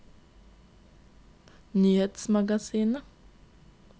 nyhetsmagasinet